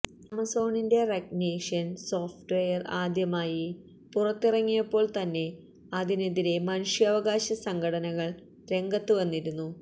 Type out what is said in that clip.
ആമസോണിന്റെ recognition software ആദ്യമായി പുറത്തിറങ്ങിയപ്പോൾതന്നെ അതിനെതിരെ മനുഷ്യാവകാശ സംഘടനകള് രംഗത്തുവന്നിരുന്നു